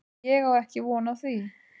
Ég á ekki von á því.